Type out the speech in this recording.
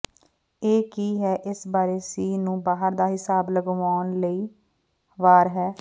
ਇਹ ਕੀ ਹੈ ਇਸ ਬਾਰੇ ਸੀ ਨੂੰ ਬਾਹਰ ਦਾ ਿਹਸਾਬ ਲਗਾਉਣ ਲਈ ਵਾਰ ਹੈ